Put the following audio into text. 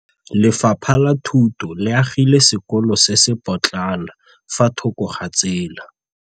Lefapha la Thuto le agile sekôlô se se pôtlana fa thoko ga tsela.